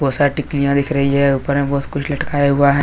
बहुत सारी टिकलियाँ दिख रही है ऊपर में बहुत कुछ लटकाया हुआ है।